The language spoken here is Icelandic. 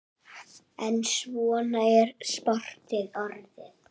En svona er sportið orðið.